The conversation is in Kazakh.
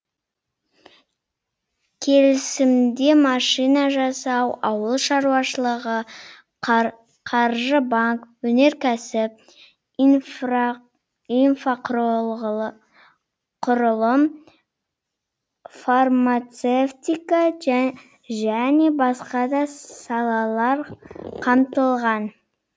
келісімде машина жасау ауыл шаруашылығы қаржы банк өнеркәсіп инфрақұрылым фармацевтика және басқа да салалар қамтылған